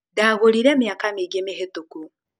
Ndagũrĩre mĩaka mĩingĩ mĩhĩtũku